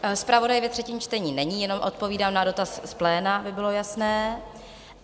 Zpravodaj ve třetím čtení není, jenom odpovídám na dotaz z pléna, aby bylo jasné.